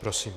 Prosím.